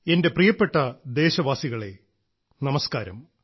എന്റെ പ്രിയപ്പെട്ട ദേശവാസികളെ നമസ്കാരം